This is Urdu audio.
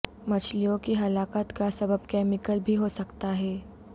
مچھلیوں کی ہلاکت کا سبب کیمیکل بھی ہو سکتا ہے